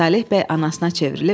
Saleh bəy anasına çevrilib: